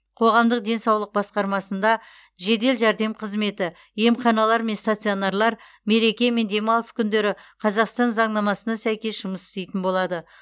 қоғамдық денсаулық басқармасында жедел жәрдем қызметі емханалар мен стационарлар мереке мен демалыс күндері қазақстан заңнамасына сәйкес жұмыс істейтін болады